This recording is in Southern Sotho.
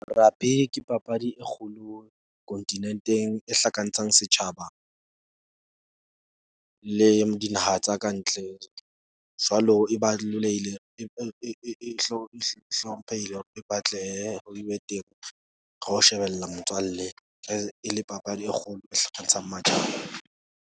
Rugby ke papadi e kgolo kontinenteng, e hlakantshang setjhaba le dinaha tsa kantle. Jwalo, e hlomphehile, hore e batlehe e be teng. Ro shebella motswalle e le papadi e kgolo .